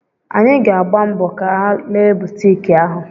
Anyị ga-agba mbọ ga lee butik ahụ.